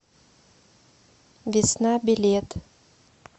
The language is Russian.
весна билет